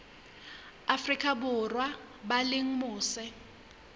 afrika borwa ba leng mose